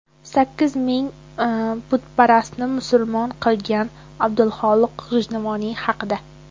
Sakkiz ming butparastni musulmon qilgan Abdulxoliq G‘ijduvoniy haqida.